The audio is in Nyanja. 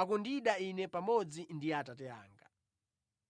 akundida Ine pamodzi ndi Atate anga.